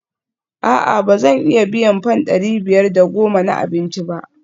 A'a ba zan iya biyan fam dari biyar da goma na abinci ba?